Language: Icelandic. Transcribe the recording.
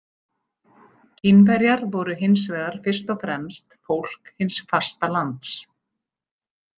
Kínverjar voru hins vegar fyrst og fremst fólk hins fasta lands.